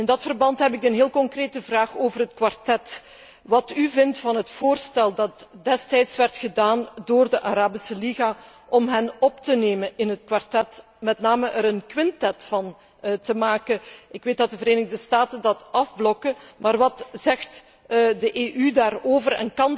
In dit verband heb ik een heel concrete vraag over het kwartet wat vindt u van het voorstel dat destijds werd gedaan door de Arabische Liga, om hen op te nemen in het kwartet, en er met name er een quintet van te maken? Ik weet dat de Verenigde Staten dat afblokken, maar wat zegt de EU daarover?